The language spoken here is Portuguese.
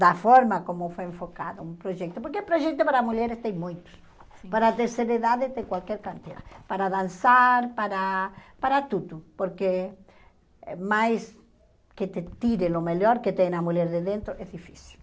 da forma como foi enfocado o projeto, porque o projeto para mulheres tem muito, para terceira idade tem qualquer quantia, para dançar, para para tudo, porque mais que te tire o melhor que tem na mulher de dentro, é difícil.